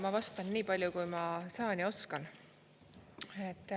Ma vastan nii palju, kui ma saan ja oskan.